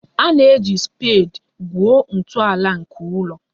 A na-eji spedi gwuo ntọala nke ụlọ